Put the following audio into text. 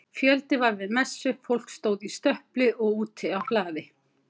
Fjöldi var við messu, fólk stóð í stöpli og úti á hlaði.